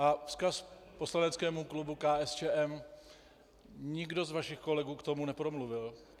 A vzkaz poslaneckému klubu KSČM: Nikdo z vašich kolegů k tomu nepromluvil.